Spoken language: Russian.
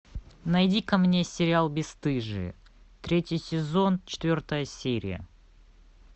найди ка мне сериал бесстыжие третий сезон четвертая серия